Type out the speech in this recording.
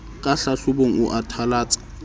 ka hlahlobong o a thalatsa